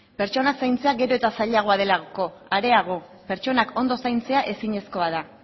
pertsonak zaintzea gero eta zailagoa delako areago pertsonak ondo zaintzea ezinezkoa da